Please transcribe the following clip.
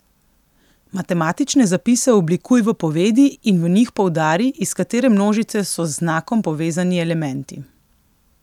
Matematične zapise oblikuj v povedi in v njih poudari, iz katere množice so z znakom povezani elementi.